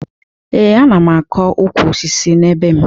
Ee, ana m akọ ukwu osisi na be m